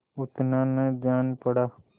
उतना न जान पड़ा